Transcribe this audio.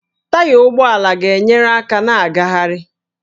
Taya ụgbọala na-enyere aka na ngagharị